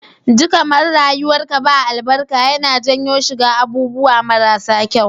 Ji kaman rayuwar ka ba albarka yAna janyo shiga abubuwa mara sa kyau